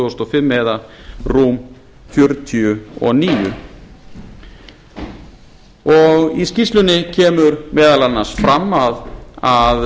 þúsund og fimm eða rúm fjörutíu og níu í skýrslunni kemur meðal annars fram að